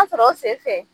sɔrɔ o senfɛ